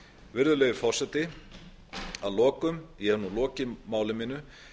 virðulegi forseti að lokum ég hef nú lokið máli mínu